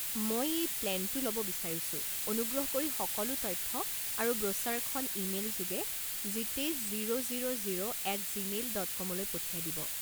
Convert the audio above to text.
মই এই প্লেনটো ল'ব বিচাৰিছোঁ অনুগ্ৰহ কৰি সকলো তথ্য আৰু ব্ৰোচাৰখন ইমেইল যোগে Jitesh zero zero zero at Gmail dot com লৈ পঠিয়াই দিব।